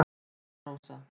Anna Rósa